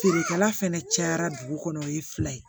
Feerekɛla fɛnɛ cayara dugu kɔnɔ o ye fila ye